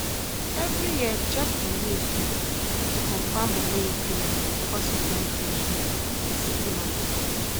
every year check di milk meter to confirm money increment before supplying fresh milk for city market